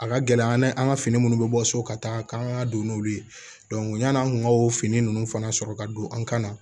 A ka gɛlɛ an ye an ka fini minnu bɛ bɔ so ka taa an ka don n'olu ye yan'an kun ka o fini ninnu fana sɔrɔ ka don an kan na